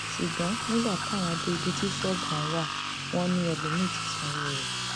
ṣùgbọn nígbà táwọn dé ibi tí ṣọọbù ọhún wà wọn ni ẹlòmíín ti sanwó rẹ